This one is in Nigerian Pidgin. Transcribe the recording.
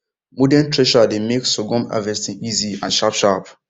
modern thresher dey make sorghum harvesting easy and sharpsharp